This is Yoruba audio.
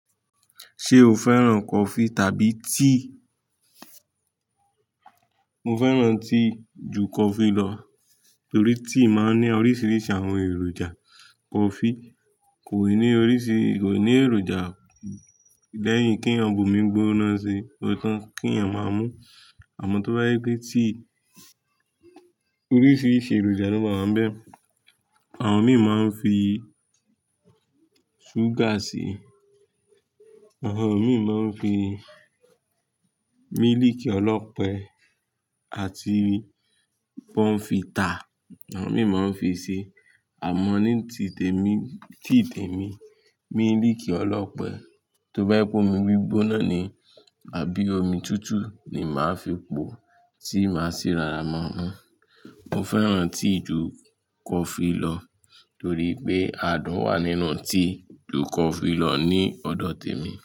Ṣé o fẹ́ràn coffee tàbí tea? Mo fẹ́ràn tea ju coffee lọ, torí tea máa ń ní oríṣiríṣi àwọn èròjà. Coffee kò ní oríṣi, kò ní èròjà. Lẹ́yìn ke ẹ̀yàn gbumi gbona si, o tán kí ẹ̀yàn máa mú. Àmọ́ tó bá yé pé tea, oríṣiríṣi èròjà ló máa ń bẹ. Àwọn mìí máa ń fi súgà síi, àwọn mìí máa ń fi mílìkì ọlọ́pẹ, àti bóńfità, àwọn mìí máa ń fi ṣi. Àmọ́ ní ti tèmi, tíì tèmi, mílìkì ọlọ́pẹ tó bá pọ̀ mọ́ gbigbona ni, àbí omi tútù ni màá fi po tí màá ṣi rora má mú. Mo fẹ́ràn tea ju coffee lọ, torí pé adùn wà nínú tea ju coffee lọ ní ọ̀dọ̀ tèmi.